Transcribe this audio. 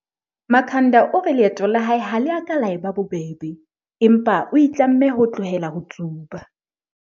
Makhanda o re leeto la hae ha le ka la eba bobebe, empa o itlamme ho tlohela ho tsuba.